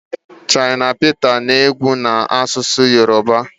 shina Peta na-egwu na-asụsụ Yoruba